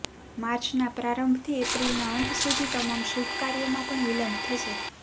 માર્ચના પ્રારંભથી એપ્રિલના અંત સુધી તમામ શુભ કાર્યોમાં પણ વિલંબ થશે